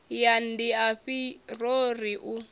ya ndiafhi yo ri u